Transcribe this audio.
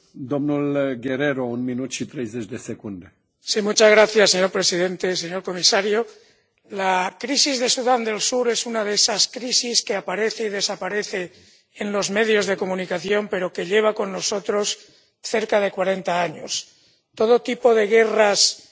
Señor presidente, señor comisario, la crisis de Sudán del Sur es una de esas crisis que aparece y desaparece en los medios de comunicación pero que lleva con nosotros cerca de cuarenta años Todo tipo de guerras destructivas por razones étnicas, por razones religiosas,